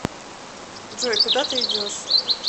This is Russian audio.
джой куда ты идешь